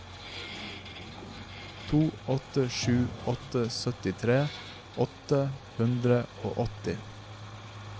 to åtte sju åtte syttitre åtte hundre og åtti